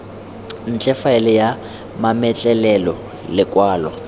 ntle faele ya mametlelelo lekwalo